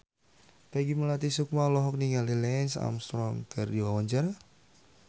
Peggy Melati Sukma olohok ningali Lance Armstrong keur diwawancara